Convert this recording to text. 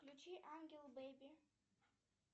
включи ангел беби